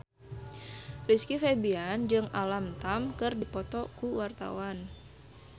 Rizky Febian jeung Alam Tam keur dipoto ku wartawan